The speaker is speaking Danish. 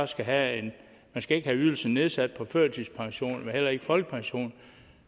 skal have ydelsen nedsat på førtidspension men heller ikke på folkepension